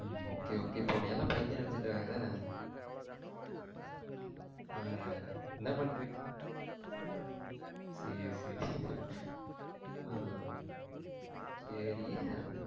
உம் okay okay இப்ப உண்ணயல்லாம் பைத்தியம்னு நெனச்சுட்டு இருக்காங்க என்ன அஹ் என்ன பண்ணிட்டு சேரி சேரி அஹ் சேரி